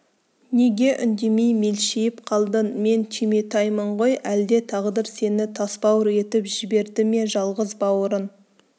неге үндемей мелшиіп қалдың мен түйметаймын ғой әлде тағдыр сені тасбауыр етіп жіберді ме жалғыз бауырың